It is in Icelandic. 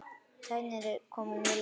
Tæknin er komin mjög langt.